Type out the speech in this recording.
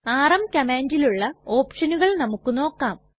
RM കംമാണ്ടിലുള്ള ഓപ്ഷനുകൾ നമുക്ക് നോക്കാം